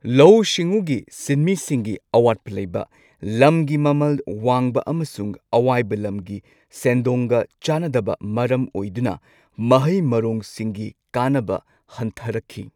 ꯂꯧꯎ ꯁꯤꯡꯎꯒꯤ ꯁꯤꯟꯃꯤꯁꯤꯡꯒꯤ ꯑꯋꯥꯠꯄ ꯂꯩꯕ, ꯂꯝꯒꯤ ꯃꯃꯜ ꯋꯥꯡꯕ ꯑꯃꯁꯨꯡ ꯑꯋꯥꯏꯕ ꯂꯝꯒꯤ ꯁꯦꯟꯗꯣꯡꯒ ꯆꯥꯅꯗꯕ ꯃꯔꯝ ꯑꯣꯏꯗꯨꯅ ꯃꯍꯩ ꯃꯔꯣꯡꯁꯤꯡꯒꯤ ꯀꯥꯟꯅꯕ ꯍꯟꯊꯔꯛꯈꯤ꯫